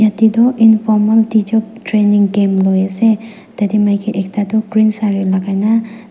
taetoh informal teachers training camp loiase tatae ekta maki toh green sare lakai na.